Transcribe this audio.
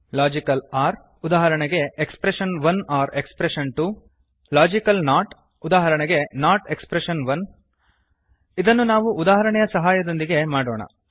logical or ಉದಾಹರಣೆಗೆ expression one or expression two logical not ಉದಾಹರಣೆಗೆ not expression one ಇದನ್ನು ನಾವು ಉದಾಹರಣೆಯ ಸಹಾಯದೊಂದಿಗೆ ಮಾಡೋಣ